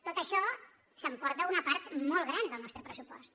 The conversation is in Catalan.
tot això s’emporta una part molt gran del nostre pressupost